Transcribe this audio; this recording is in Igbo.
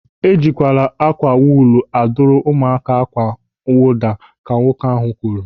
"Ejikwala ákwà wuulu a duru ụmụaka akwa mwụda", ka nwoke ahụ kwuru.